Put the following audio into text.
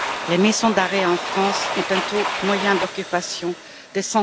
Les maisons d'arrêt en France ont un taux moyen d'occupation de